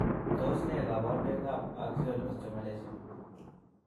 Tos nee koborunoikab Axial osteomalacia?